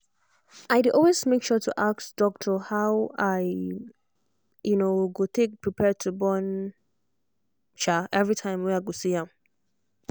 i day always make sure to ask doctor how i um go take prepare to born um everytime way i go see am.